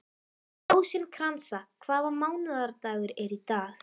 Rósinkransa, hvaða mánaðardagur er í dag?